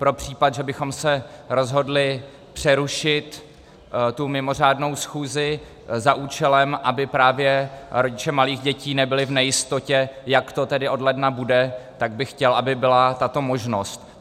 Pro případ, že bychom se rozhodli přerušit tu mimořádnou schůzi za účelem, aby právě rodiče malých dětí nebyli v nejistotě, jak to tedy od ledna bude, tak bych chtěl, aby byla tato možnost.